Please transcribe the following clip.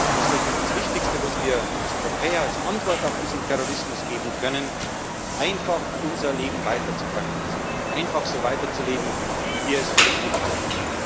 Hass. Und deswegen ist das Wichtigste, was wir als Europäer als Antwort auf diesen Terrorismus geben können, einfach unser Leben weiter zu praktizieren, einfach so weiterzuleben, wie wir es für richtig halten.